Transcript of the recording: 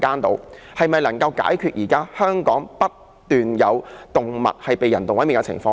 這是否可以解決現時不斷有動物被人道毀滅的情況呢？